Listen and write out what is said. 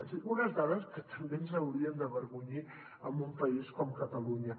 és a dir unes dades que també ens haurien d’avergonyir en un país com catalunya